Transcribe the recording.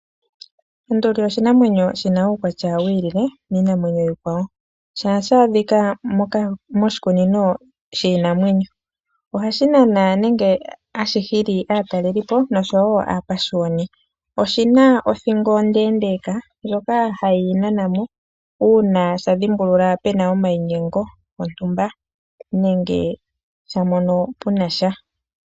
Onduli oshinamwenyo shina uukwatya wiilile miinamwenyo iikwawo shaashaa dhika moka moshikunino shiinamwenyo ohashi Nana nenge ashi hili aatalelipo noshowo apashiyoni oshina othingo ondeendeeka ndjoka hashi yi nanamo uuna sha dhimbulula pena omayinyengo gontumba nenge sha mono punasha.